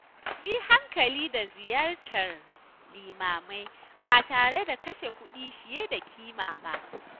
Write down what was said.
Mu yi hankali da ziyartar limamai ba tare da kashe kuɗi fiye da ƙima ba